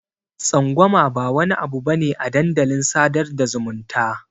Tsangwama ba wani abu bane a dandalin sadar da zumunta.